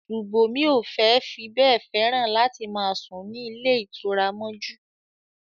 Ṣùbòmí ò fi bẹ́ẹ̀ fẹ́ràn láti máa sùn ní ilé ìtura mọ́jú